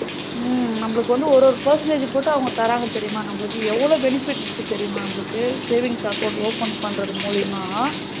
உம் நமளுக்கு வந்து ஒரு ஒரு percentage போட்டு அவங்க தராங்க தெரியுமா நமளுக்கு எவளோ benefits இருக்கு தெரியுமா? நமளுக்கு savings accounts open பண்றது மூலியமா?